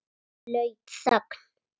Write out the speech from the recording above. Blaut þögn.